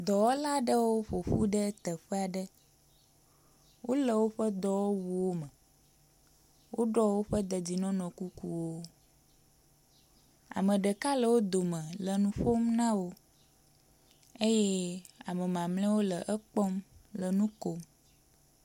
Dɔwɔla aɖewo ƒoƒu ɖe teƒe aɖe. Wole woƒe dɔwɔwuwo me, woɖɔ woƒe dedienɔnɔ kukuwo, Ame ɖeka le wo dome le nu ƒon na wo eye ame mamleawo le ekpɔm le nu kom.